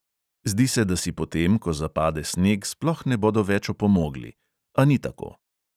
Zdi se, da si potem, ko zapade sneg, sploh ne bodo več opomogli, a ni tako.